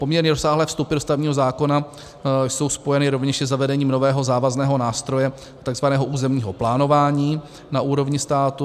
Poměrně rozsáhlé vstupy do stavebního zákona jsou spojeny rovněž se zavedením nového závazného nástroje, tzv. územního plánování na úrovni státu.